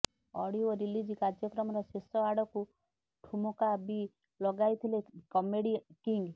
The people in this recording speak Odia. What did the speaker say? ଅଡିଓ ରିଲିଜ କାର୍ଯ୍ୟକ୍ରମର ଶେଷ ଆଡକୁ ଠୁମକା ବି ଲଗାଇଥିଲେ କମେଡି କିଙ୍ଗ